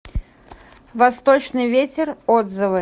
восточный ветер отзывы